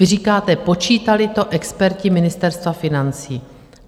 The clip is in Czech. Vy říkáte: Počítali to experti Ministerstva financí.